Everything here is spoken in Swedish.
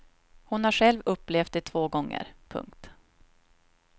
Hon har själv upplevt det två gånger. punkt